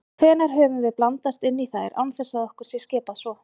Hvenær höfum við blandast inn í þær án þess að okkur sé skipað svo?